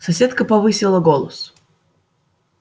соседка повысила голос